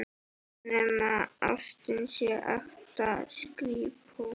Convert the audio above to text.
Nema ástin sé ekta skrípó.